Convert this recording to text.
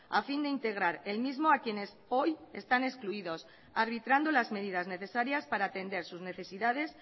a fin de integrar el mismo a quienes hoy están excluidos arbitrando las medidas necesarias para atender sus necesidades